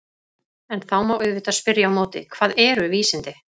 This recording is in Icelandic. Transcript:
En þá má auðvitað spyrja á móti: Hvað eru vísindi?